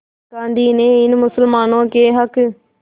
गांधी ने इन मुसलमानों के हक़